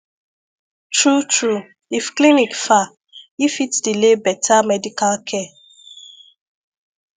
true true if clinic far e fit delay better medical care